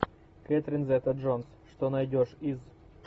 кэтрин зета джонс что найдешь из